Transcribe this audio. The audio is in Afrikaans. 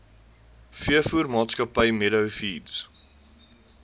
veevoermaatskappy meadow feeds